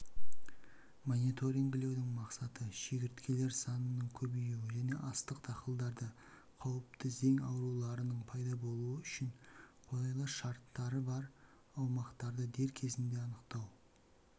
мониторингілеудің мақсаты шегірткелер санының көбеюі және астық дақылдарда қауіпті зең ауруларының пайда болуы үшін қолайлы шарттары бар аумақтарды дер кезінде анықтау